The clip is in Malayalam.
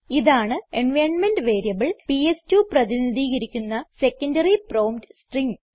ഇതാണ് എൻവൈറൻമെന്റ് വേരിയബിൾ പിഎസ്2 പ്രതിനിധീകരിക്കുന്ന സെക്കൻഡറി പ്രോംപ്റ്റ് സ്ട്രിംഗ്